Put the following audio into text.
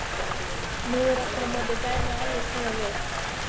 Nú er aftur á móti dæmið alveg snúið við.